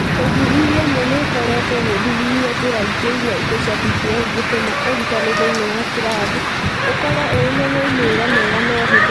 Ũthuthuria ũmwe nĩ ũkoretwo ũgĩthuthuria njĩra ingĩ iria indo cia DPL ingĩtũma ũrutani thĩinĩ wa kĩrathi ũkorũo ũrĩ na moimĩrĩro mega na ũhũthũ